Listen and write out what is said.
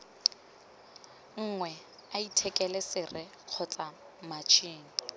nngwe athikele sere kgotsa matšhini